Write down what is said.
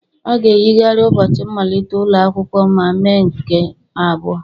A ga-eyigharị ụbọchị mmalite ụlọ akwụkwọ na Mee nke abụọ.